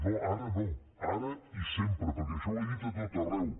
no ara no ara i sempre perquè això ho he dit a tot arreu